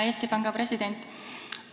Hea Eesti Panga president!